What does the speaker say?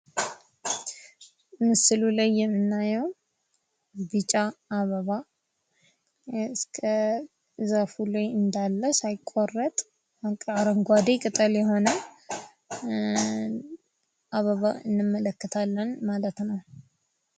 ምስሉ ላይ የምናየው ቢጫ አበባ እስከ ዘርፉ ላይ እንዳለ ሳይቆረጥ አረንጓዴ ቅጠል የሆነ አበባ እንመለከታለን ማለት ነው።